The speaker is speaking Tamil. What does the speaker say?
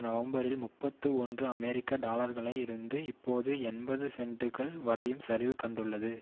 நவம்பரில் முப்பத்தி ஒன்று அமெரிக்க டாலர்களாக இருந்து இப்போது எண்பது சென்டுகள் வரையும் சரிவு கண்டுள்ளது